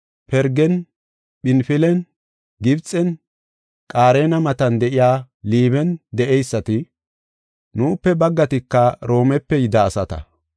Pirgen, Phinfilen, Gibxen, Qaarena matan de7iya Liiben de7eyisata. Nuupe baggatika Roomepe yida asata.